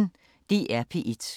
DR P1